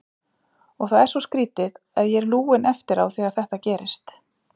Og það er svo skrítið, að ég er lúinn eftir á þegar þetta gerist.